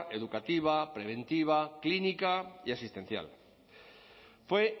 educativa preventiva clínica y asistencial fue